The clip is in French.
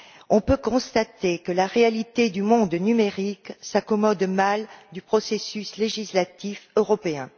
On peut constater que la réalité du monde numérique s'accommode mal du processus législatif européen.